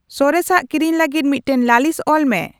ᱥᱚᱨᱮᱥᱟᱜ ᱠᱤᱨᱤᱧ ᱞᱟᱹᱜᱤᱫ ᱢᱤᱫᱴᱟᱝ ᱞᱟᱹᱞᱤᱥ ᱚᱞ ᱢᱮ